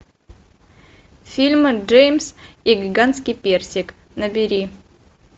фильм джеймс и гигантский персик набери